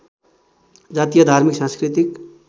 जातीय धार्मिक सांस्कृतिक